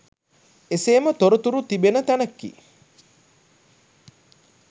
එසේම තොරතුරු තිබෙන තැනකි.